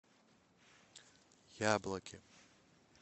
яблоки